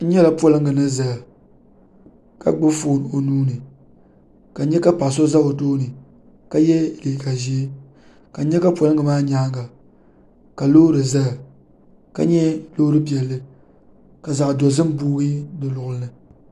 N nyɛla polinga ni zaya ka gbubi fooni o nuu ni ka n nyɛ ka paɣa so za bi tooni ka yɛ liiga ʒee ka n nyɛ ka polinga maa nyaanga ka loori zaya ka nyɛ loori piɛlli ka zaɣa dozim booyi di luɣuli ni.